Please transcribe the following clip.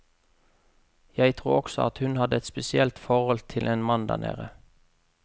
Jeg tror også at hun hadde et spesielt forhold til en mann der nede.